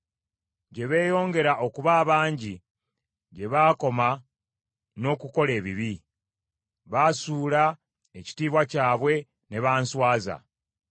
Gye beeyongera okuba abangi, gye baakoma n’okukola ebibi; baasuula ekitiibwa kyabwe ne banswaza.